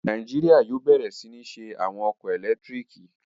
Nàìjíríyà yóò bẹ̀rẹ̀ sí ní ṣe àwọn ọkọ̀ ẹlẹtíríkì